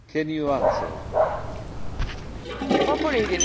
Frau Kollegin! Ich bin seit 15Jahren Mitglied dieses Parlaments.